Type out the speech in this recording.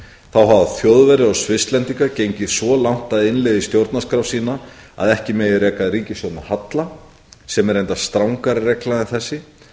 þá hafa þjóðverjar og svisslendingar gengið svo langt að innleiða í stjórnarskrá sína að ekki megi reka ríkissjóð með halla sem er reyndar strangari regla en þessi